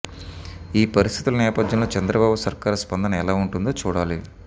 ఈ పరిస్థితుల నేపథ్యంలో చంద్రబాబు సర్కారు స్పందన ఎలా ఉంటుందో చూడాలి